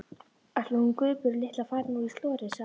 Ætli hún Guðbjörg litla fari nú í slorið. sagði amma.